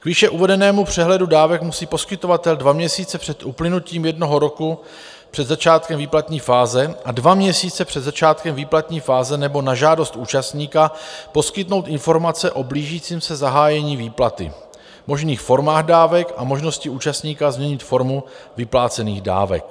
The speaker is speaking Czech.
K výše uvedenému přehledu dávek musí poskytovatel dva měsíce před uplynutím jednoho roku před začátkem výplatní fáze a dva měsíce před začátkem výplatní fáze nebo na žádost účastníka poskytnout informace o blížícím se zahájení výplaty, možných formách dávek a možnosti účastníka změnit formu vyplácených dávek.